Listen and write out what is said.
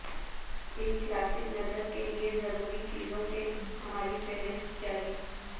ایک کلاسک نظر کے لئے ضروری چیزوں کی ہماری فہرست جاری